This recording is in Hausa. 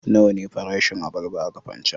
Nawa ne farashin abarba a Kafancan?